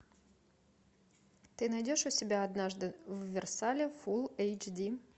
ты найдешь у себя однажды в версале фул эйч ди